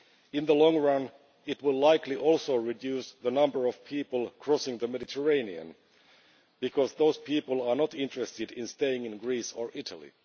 In the long run, it will likely also reduce the number of people crossing the Mediterranean because those people are not interested in staying in Greece or Italy.